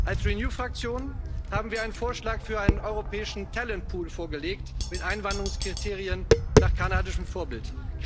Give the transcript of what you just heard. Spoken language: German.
Als Renew Fraktion haben wir einen Vorschlag für einen europäischen talent pool vorgelegt mit Einwanderungskriterien nach kanadischem Vorbild.